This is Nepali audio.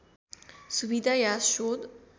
सुविधा या शोध